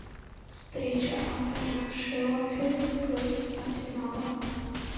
встреча апл шеффилд против арсенала